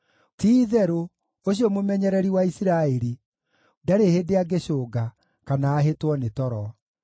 ti-itherũ, ũcio mũmenyereri wa Isiraeli ndarĩ hĩndĩ angĩcũnga, kana ahĩtwo nĩ toro.